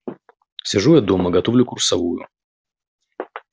сижу я дома готовлю курсовую